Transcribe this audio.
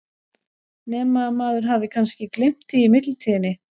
Nema að maður hafi kannski gleymt því í millitíðinni?